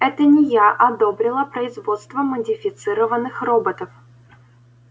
это не я одобрила производство модифицированных роботов